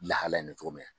Lahalaya in na cogo min na